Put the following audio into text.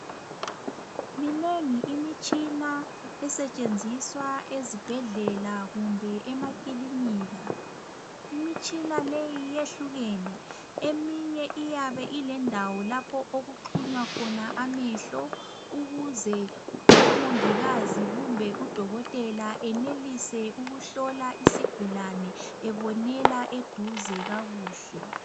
Minengi imitshina esetshenziswa ezibhedlela kumbe emakilinika. Imitshina leyi iyehlukene eminye uyabe ilendawo lapho okuxunywa khona amehlo ukuze umongikazi kumbe udokotela enelise ukuhlola isigulane ebonela eduze kakuhle.